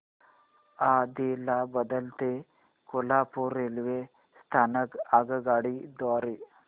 आदिलाबाद ते कोल्हापूर रेल्वे स्थानक आगगाडी द्वारे